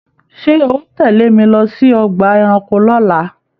Ṣé o tẹle mí lọ sí ọgbà ẹranko l'ola?